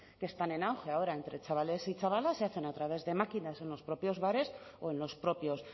que están en auge ahora entre chavales y chavalas se hacen a través de máquinas en los propios bares o en los propios